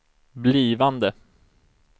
blivande